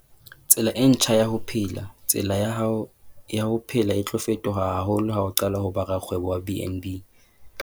Tsela e ntjha ya ho phela - Tsela ya hao ya ho phela e tlo fetoha haholo ha o qala ho ba rakgwebo wa BnB.